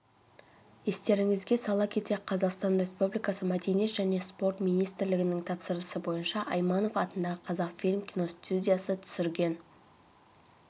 естеріңізге сала кетсек қазақстан республикасы мәдениет және спорт министрлігінің тапсырысы бойынша айманов атындағы қазақфильм киностудиясы түсірген